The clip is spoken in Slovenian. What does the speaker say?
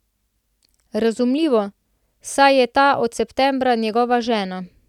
Razumljivo, saj je ta od septembra njegova žena.